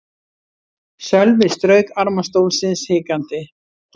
Sölvi strauk arma stólsins hikandi.